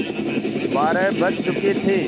बारह बज चुके थे